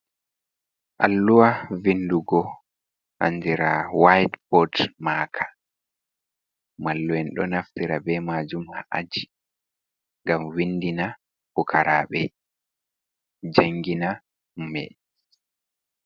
Alluha vindugo andira wite bot maaka, mallu'en ɗo naftira be majum ha'aji ngam windina fukaraɓe jangina be.